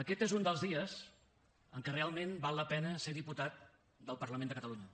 aquest és un dels dies en què realment val la pena ser diputat del parlament de catalunya